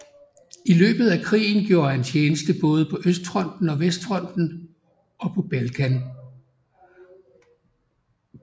I løbet af krigen gjorde han tjeneste både på østfronten og vestfronten og på Balkan